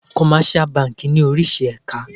Commercial banki ní oríṣi èka.